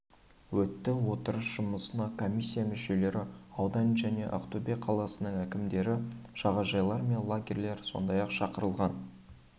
өтті отырыс жұмысына комиссия мүшелері аудан және ақтөбе қаласының әкімдері жағажайлар мен лагерьлер сондай-ақ шақырылған